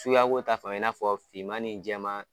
Suguya ko ta fanfɛ i n'a fɔ fiman ni jɛman